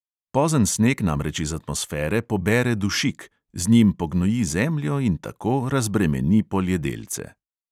Pozen sneg namreč iz atmosfere pobere dušik, z njim pognoji zemljo in tako razbremeni poljedelce.